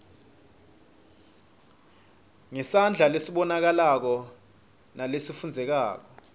ngesandla lesibonakalako nalesifundzekako